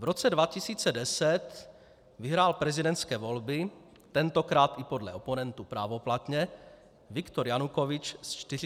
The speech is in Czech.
V roce 2010 vyhrál prezidentské volby, tentokrát i podle oponentů právoplatně, Viktor Janukovyč s 48 % hlasů.